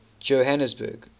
johanesburg